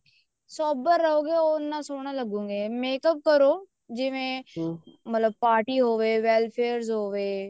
sober ਰਹੋਂਗੇ ਉੰਨਾ ਸੋਹਣਾ ਲੱਗੋਗੇ makeup ਕਰੋ ਜਿਵੇਂ ਮਤਲਬ party ਹੋਵੇ welfare ਹੋਵੇ